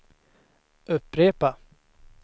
upprepa